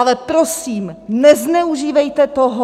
Ale prosím, nezneužívejte toho!